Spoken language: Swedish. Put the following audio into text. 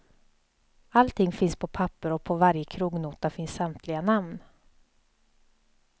Allting finns på papper och på varje krognota finns samtliga namn.